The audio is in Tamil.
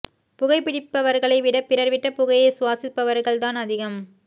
புகை பிடிப்பவர்களை விட பிறர் விட்ட புகையை சுவாசிப்பவர்கள் தான் அதிகம்